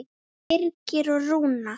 Birgir og Rúna.